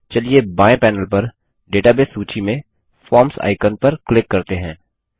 चलिए बाएँ पैनेल पर डेटाबेस सूची में फॉर्म्स आइकन पर क्लिक करते हैं